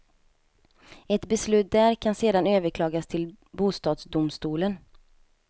Ett beslut där kan sedan överklagas till bostadsdomstolen.